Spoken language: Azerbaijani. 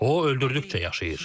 O, öldürdükcə yaşayır.